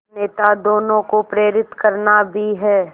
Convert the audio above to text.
नेता दोनों को प्रेरित करना भी है